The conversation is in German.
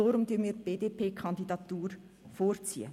Darum ziehen wir die BDP-Kandidatur vor.